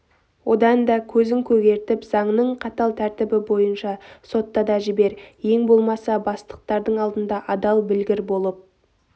одан да көзін көгертіп заңның қатал тәртібі бойынша сотта да жібер ең болмаса бастықтардың алдында адал білгір болып